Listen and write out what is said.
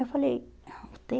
Eu falei, u tê